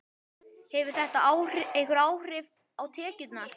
Hefur þetta einhver áhrif á tekjurnar?